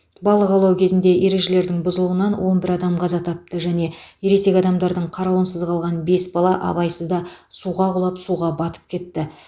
балық аулау кезінде ережелердің бұзылуынан он бір адам қаза тапты және ересек адамдардың қарауынсыз қалған бес бала абайсызда суға құлап суға батып кетті